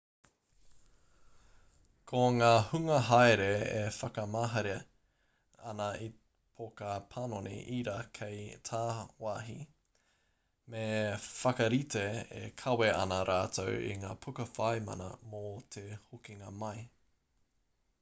ko ngā hunga haere e whakamahere ana i te poka panoni ira kei tāwāhi me whakarite e kawe ana rātou i ngā puka whai mana mō te hokinga mai